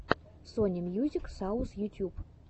сони мьюзик саус ютьюб